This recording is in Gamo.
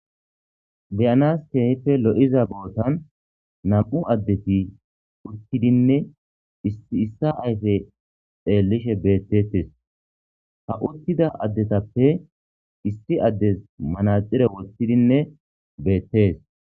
Beyanasi keehippe lo'iza botani nam'u adeti utidinne issi issa ayfe xeelishe betetesi ,ha utida adetappe issi adesi manaxire wothidinne beetesi.